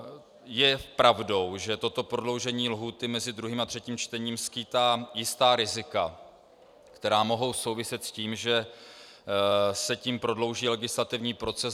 Je pravdou, že toto prodloužení lhůty mezi 2. a 3. čtením skýtá jistá rizika, která mohou souviset s tím, že se tím prodlouží legislativní proces.